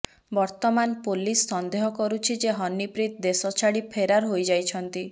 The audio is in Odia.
ବର୍ତ୍ତମାନ ପୋଲିସ ସନ୍ଦେହ କରୁଛି ଯେ ହନିପ୍ରୀତ ଦେଶଛାଡି ଫେରାର ହୋଇଯାଇଛନ୍ତି